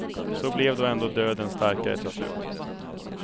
Så blev då ändå döden starkare till slut.